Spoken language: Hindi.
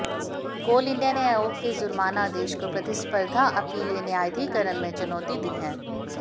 कोल इंडिया ने आयोग के जुर्माना आदेश को प्रतिस्पर्धा अपीलीय न्यायाधिकरण में चुनौती दी है